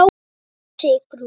spyr Sigrún.